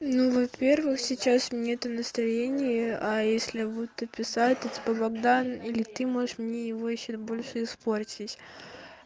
ну во-первых сейчас нету это настроение а если будут то писать это типа богдан или ты можешь мне его ещё больше испортить